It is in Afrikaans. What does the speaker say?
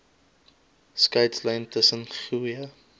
skeidslyn tussen goeie